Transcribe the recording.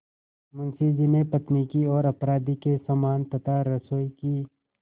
मुंशी जी ने पत्नी की ओर अपराधी के समान तथा रसोई की